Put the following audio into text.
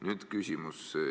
Nüüd küsimus.